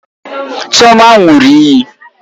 Chioma ṅụrụ iyi